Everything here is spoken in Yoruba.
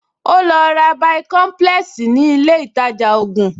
Ó lọ ra bàìkọ́ḿpúlẹ́ẹ̀sì ní ilé ìtajà ògùn